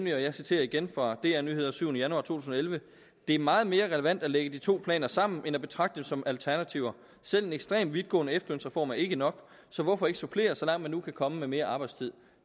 jeg citerer igen fra dr nyheder den syvende januar 2011 det er meget mere relevant at lægge de to planer sammen end at betragte dem som alternativer selv en ekstremt vidtgående efterlønsreform er ikke nok så hvorfor ikke supplere den så langt man nu kan komme med mere arbejdstid